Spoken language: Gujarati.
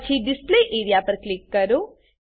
પછી ડિસ્પ્લે એરિયા પર ક્લિક કરો